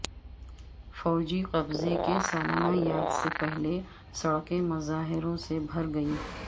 فوجی قبضے کی سالانہ یاد سے پہلے سڑکیں مظاہروں سے بھر گئی